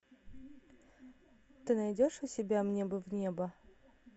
ты найдешь у себя мне бы в небо